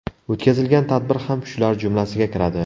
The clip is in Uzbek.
O‘tkazilgan tadbir ham shular jumlasiga kiradi.